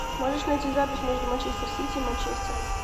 можешь найти запись между манчестер сити и манчестером